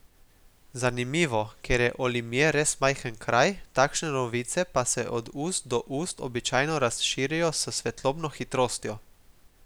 Zanimivo, ker je Olimje res majhen kraj, takšne novice pa se od ust do ust običajno razširijo s svetlobno hitrostjo.